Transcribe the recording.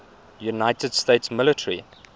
united states military